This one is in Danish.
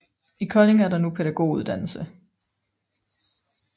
I Kolding er der nu pædagoguddannelse